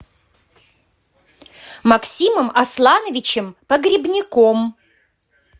максимом аслановичем погребняком